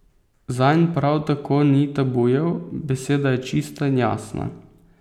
Zanj prav tako ni tabujev, beseda je čista in jasna.